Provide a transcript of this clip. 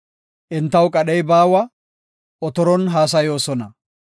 Entaw qadhey baawa; otoron haasayoosona.